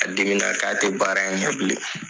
A dimina k'a tɛ baara in bilen.